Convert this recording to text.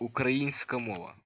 украинскому